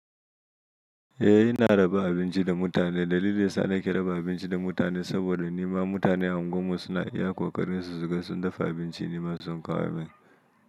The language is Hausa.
Eh ina raba abinci da mutane. Dalilin sa ni ke raba abinci da mutane saboda nima mutane a unguwar mu suna iya ƙoƙarin su suga sun dafa abinci nima sun kawo min.